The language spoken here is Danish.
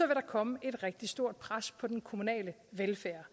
der komme et rigtig stort pres på den kommunale velfærd